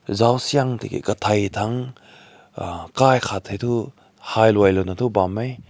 zao suing teki takai ta kai hai lao na bam meh.